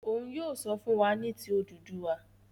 Òún yóò sọ fún wá ní tí Odùduwa.